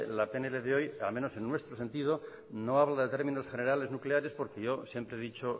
la pnl de hoy al menos en nuestro sentido no habla de términos generales nucleares porque yo siempre he dicho